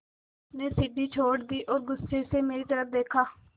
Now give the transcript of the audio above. उसने सीढ़ी छोड़ दी और गुस्से से मेरी तरफ़ देखा